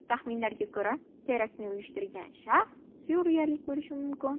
Taxminlarga ko‘ra, teraktni uyushtirgan shaxs suriyalik bo‘lishi mumkin.